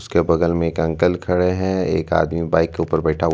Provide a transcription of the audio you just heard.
ऊसके बगल में एक अंकल खड़े हुए है। एक आदमी बाइक के ऊपर बैठा हुआ--